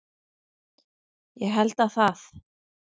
Ég held að það